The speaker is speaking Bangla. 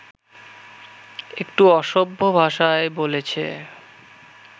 একটু অসভ্য ভাষায় বলেছে